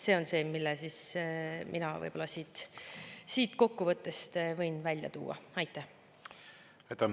" See on see, mille ma siit kokkuvõttest võin võib-olla välja tuua.